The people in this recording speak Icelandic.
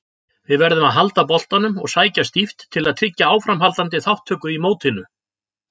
Við verðum að halda boltanum og sækja stíft til að tryggja áframhaldandi þátttöku í mótinu.